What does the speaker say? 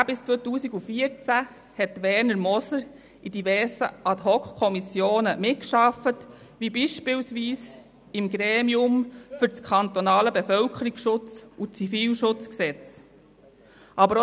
Von 2010–2014 hat Werner Moser in diversen Ad-hoc-Kommissionen mitgearbeitet, beispielsweise im Gremium für das Kantonale Bevölkerungsschutz- und Zivilschutzgesetz (KBZG).